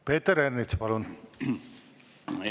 Peeter Ernits, palun!